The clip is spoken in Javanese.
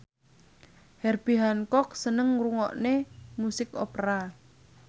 Herbie Hancock seneng ngrungokne musik opera